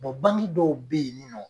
bangi dɔw bɛ ye nin nɔ.